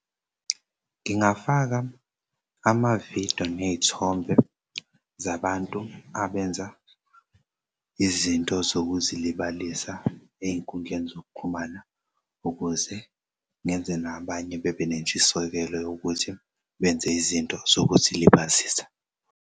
Ngingafaka ama-video ney'thombe zabantu abenza izinto zokuzilibalisa ey'nkundleni zokuxhumana ukuze ngenze nabanye bebe nentshisekelo yokuthi benze izinto zokuzilibazisa.